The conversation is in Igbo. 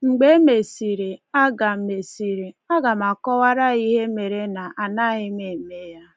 Mgbe e mesịrị, aga mesịrị, aga m akọwara ya ihe mere na-anaghị m eme ya.”